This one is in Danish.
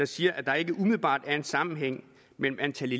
siger at der ikke umiddelbart er en sammenhæng mellem antallet